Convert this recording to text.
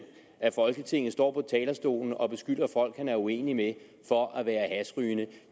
af folketinget står på talerstolen og beskylder folk han er uenig med for at være hashrygende